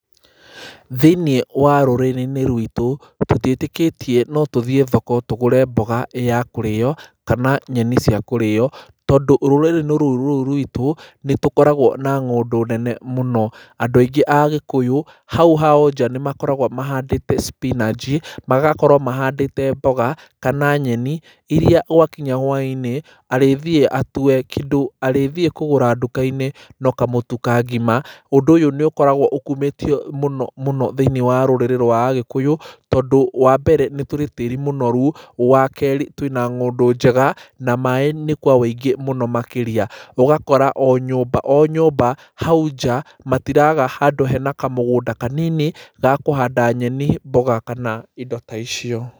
Thĩ -inĩ wa rũrĩri-inĩ rwitũ tũtiĩtĩkitie no tuthiĩ thoko tũgũre mboga kana nyeni cia kũria tondũ rũrĩrĩ rũrũ rwitũ nĩtũkoragwo na ngũndũ nene mũno. Andũ aingi a agikuyu hau hao nja nĩ makoragwo mahandĩte spinanji, magakorwo mahandite mboga kana nyeni iria gwakinya hwainĩ arĩthĩ atue arĩa, kĩndũ arĩthiĩ kũgũra ndukai ĩ no kamũtu ka ngima. ũndũ ũyu nĩkoragwo ũkumĩtio thĩĩniĩ wa rurĩrrĩ rwa Agĩkũyũ tondũ wa mbere nĩ tĩri mũnoru, wa kerĩ twina ng'ũndũ njega na maaĩ nĩ kwa wũingĩ mũno makĩria, ũgakora o nyũmba o nyũmba hau nja matiraga handũ hena kamũgũ da kanini ya kũhanda nyeni mboga kana indo ta icio.